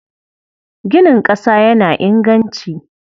Ginin ƙasa yana inganci.